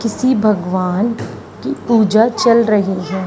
किसी भगवान की पूजा चल रही है।